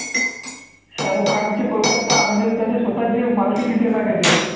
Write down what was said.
शाहरुख खानची कोलकत्ता म्हणजे त्याच्या स्वतःच्या मालकीची team आहे का ते?